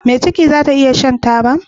Me ciki zata iya Shan taba